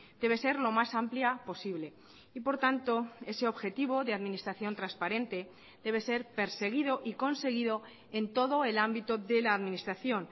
debe ser lo más amplia posible y por tanto ese objetivo de administración transparente debe ser perseguido y conseguido en todo el ámbito de la administración